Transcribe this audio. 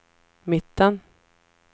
mitten